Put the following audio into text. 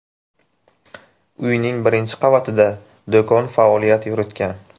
Uyning birinchi qavatida do‘kon faoliyat yuritgan.